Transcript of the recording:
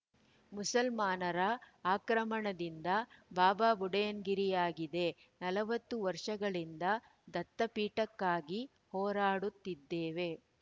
ಮುಸಲ್ಮಾನರ ಆಕ್ರಮಣದಿಂದ ಬಾಬಾಬುಡನ್‌ಗಿರಿಯಾಗಿದೆ ನಲವತ್ತು ವರ್ಷಗಳಿಂದ ದತ್ತಪೀಠಕ್ಕಾಗಿ ಹೋರಾಡುತ್ತಿದ್ದೇವೆ